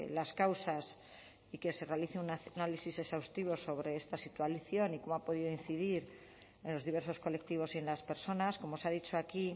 las causas y que se realice un análisis exhaustivo sobre esta situación y cómo ha podido incidir en los diversos colectivos y en las personas como se ha dicho aquí